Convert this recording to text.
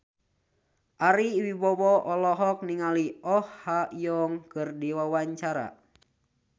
Ari Wibowo olohok ningali Oh Ha Young keur diwawancara